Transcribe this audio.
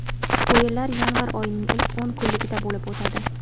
O‘yinlar yanvar oyining ilk o‘n kunligida bo‘lib o‘tadi.